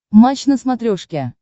матч на смотрешке